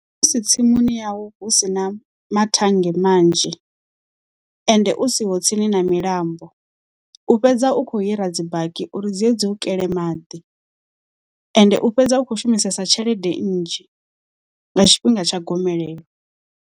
Musi tsimuni yau hu si na mathannge manzhi, ende u siho tsini na milambo u fhedza u kho hira dzi baki uri dzie dzi u kele maḓi, ende u fhedza u khou shumisesa tshelede nnzhi, nga tshifhinga tsha gomelelo.